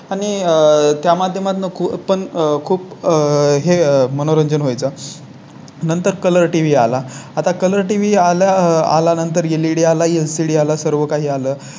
आणि आह त्या माध्यमातून पण खूप आहे. मनोरंजन व्हाय चं नंतर Color TV आला. आता Color TV आल्या आल्यानंतर लेडी आला HD आला सर्व काही आलं